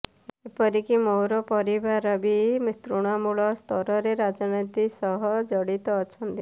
ଏପରିକି ମୋର ପରିବାର ବି ତୃଣମୂଳ ସ୍ତରରେ ରାଜନୀତି ସହ ଜଡିତ ଅଛନ୍ତି